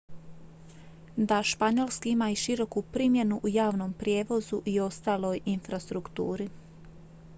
da španjolski ima i široku primjenu u javnom prijevozu i ostaloj infrastrukturi